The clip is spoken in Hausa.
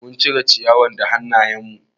Mun cire ciyawa da hanayen mu